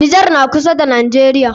Nijar na kusa da najeriya